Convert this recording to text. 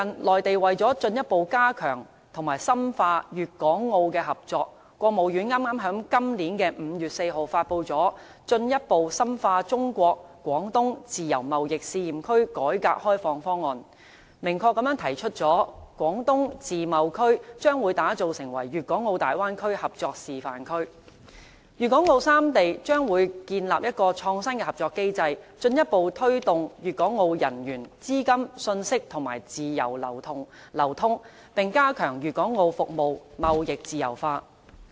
內地為了進一步加強和深化粵港澳的合作，國務院剛在今年5月4日發布了《進一步深化中國自由貿易試驗區改革開放方案》，明確提出將會把廣東自貿區打造成粵港澳大灣區合作示範區，粵港澳三地將會建立一個創新的合作機制，進一步推動粵港澳人員、資金、信息等自由流通，並加強粵港澳服務貿易自由化。